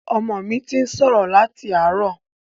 Ọmọ mi ti ń sọ̀rọ̀ láti àárọ̀.